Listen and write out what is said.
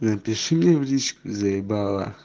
напиши мне в личку заебала